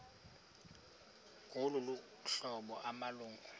ngolu hlobo amalungu